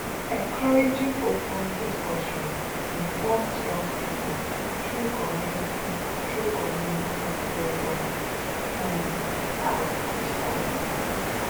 encouraging open discussions informs young pipo through community through community programs um ah you sabi